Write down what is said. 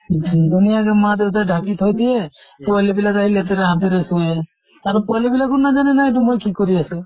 ধুনীয়াকে মা দেইতাই ঢাকি থৈ দিয়ে, পোৱালী বিলাক আহি লেতেৰা হাতেৰে চুয়ে। আৰু পোৱালী বিলাকো নাজানে নহয় এইটো মই কি কৰি আছো।